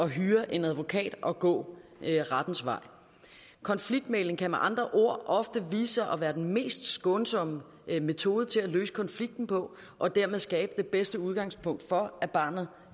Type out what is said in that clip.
hyre en advokat og gå rettens vej konfliktmægling kan med andre ord ofte vise sig at være den mest skånsomme metode til at løse konflikten på og dermed skabe det bedste udgangspunkt for at barnet